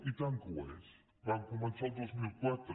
i tant que ho és van co mençar al dos mil quatre